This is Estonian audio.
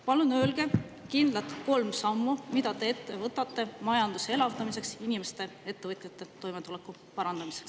Palun öelge kolm kindlat sammu, mida te võtate ette majanduse elavdamiseks ja inimeste, ettevõtjate toimetuleku parandamiseks.